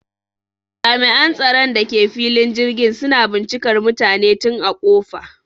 Jami'an tsaron da ke filin jirgin suna bincikar mutane tun a ƙofa